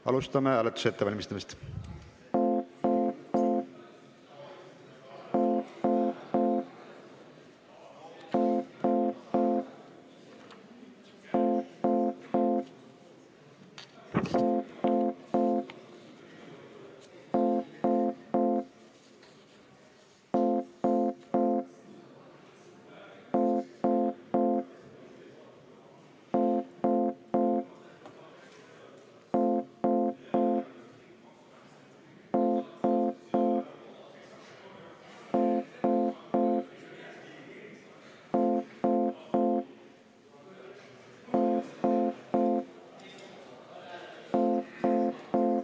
Asume hääletust ette valmistama.